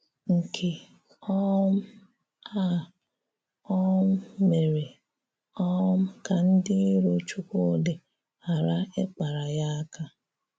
Nkè um a um mèrè um kà ndị ìrò Chúkwúdị̀ ghàrà ịkpara ya àká.